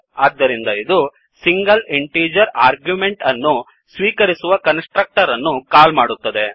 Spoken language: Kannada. ಆದ್ದರಿಂದ ಇದು ಸಿಂಗಲ್ ಇಂಟಿಜರ್ ಆರ್ಗ್ಯೂಮೆಂಟ್ ಅನ್ನು ಸ್ವೀಕರಿಸುವ ಕನ್ಸ್ ಟ್ರಕ್ಟರ್ ಅನ್ನು ಕಾಲ್ ಮಾಡುತ್ತದೆ